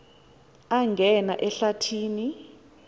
angena ehlathi ni